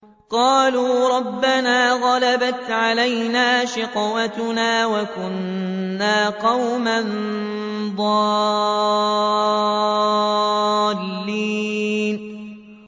قَالُوا رَبَّنَا غَلَبَتْ عَلَيْنَا شِقْوَتُنَا وَكُنَّا قَوْمًا ضَالِّينَ